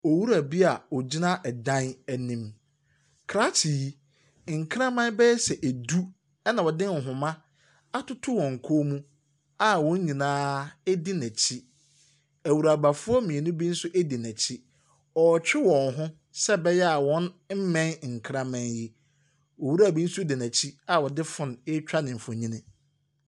Owura bi a ɔgyina dan anim. Krakye yi, nkraman bɛyɛ sɛ edu ɛna ɔde nhoma atoto wɔn kɔn mu a wɔn nyinaa di n'akyi. Nwurabafoɔ mmienu bi nso di n'akyi. Ɔretwe wɔn ho seneɛ ɛbɛyɛ a ɔremmɛn nkraman yi. Owura bi nso di n'akyi a ɔde phone ɛreetwa no nfonni.